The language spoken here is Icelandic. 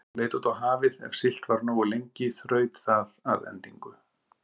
Hún leit út á hafið, ef siglt var nógu lengi þraut það að endingu.